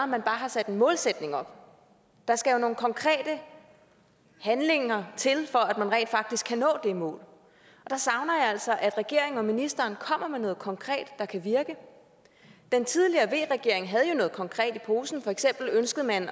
man bare har sat en målsætning op der skal jo nogle konkrete handlinger til for at man rent faktisk kan nå det mål der savner jeg altså at regeringen og ministeren kommer med noget konkret der kan virke den tidligere v regering havde jo noget konkret i posen for eksempel ønskede man